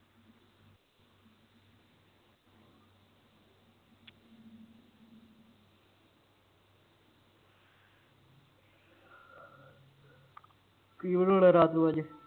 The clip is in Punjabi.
ਕੀ ਬਣਾਉਣਾ ਰਾਤ ਨੂੰ ਅੱਜ